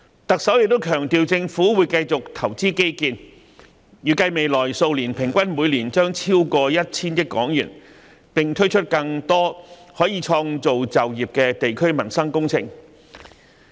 行政長官亦強調政府會繼續投資基建，預計未來數年將每年平均投資超過 1,000 億港元，並推出更多可創造就業的地區民生工程。